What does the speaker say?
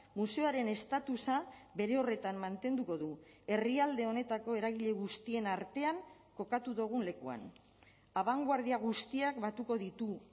museoaren estatusa bere horretan mantenduko du herrialde honetako eragile guztien artean kokatu dugun lekuan abangoardia guztiak batuko ditu